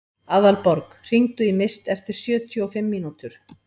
Aðalborg, hringdu í Mist eftir sjötíu og fimm mínútur.